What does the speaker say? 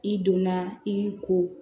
I donna i ko